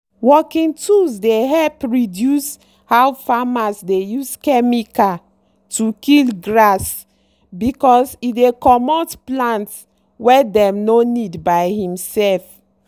working tools dey help reduce how farmers dey use chemical to kill grass because e dey commot plants wey dem no need by himself.